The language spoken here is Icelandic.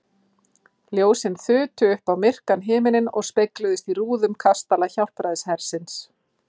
Ljósin þutu upp á myrkan himininn og spegluðust í rúðum kastala Hjálpræðishersins.